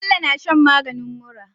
Bello na shan maganin mura